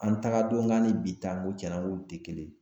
An taga don k'an ni bi ta n ko tiɲana n ko o tɛ kelen